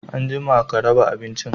Anjima ka raɓa abincin!